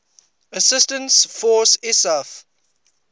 assistance force isaf